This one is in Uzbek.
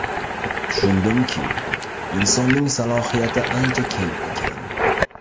Tushundimki, insonning salohiyati ancha keng ekan.